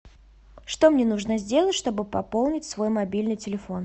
что мне нужно сделать чтобы пополнить свой мобильный телефон